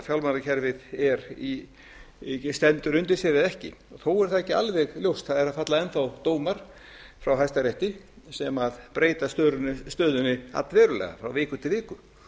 fjármálakerfið stendur undir sér eða ekki þó er það ekki alveg ljóst það eru að falla enn þá dómar frá hæstarétti sem breyta stöðunni allverulega frá viku til viku